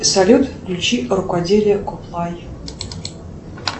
салют включи рукоделие коплай